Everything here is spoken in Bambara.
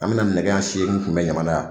An mɛna nɛgɛ siyeni kunbɛ Ɲamana yan.